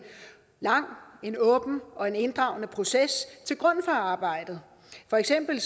lang en åben og en inddragende proces til grund for arbejdet for eksempel